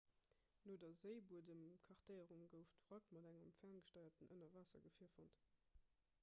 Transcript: no der séibuedemkartéierung gouf d'wrack mat engem ferngesteierten ënnerwaassergefier fonnt